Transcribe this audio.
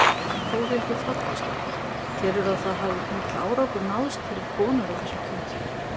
Þórhildur Þorkelsdóttir: Telurðu að það hafi mikill árangur náðst fyrir konur á þessum tíma?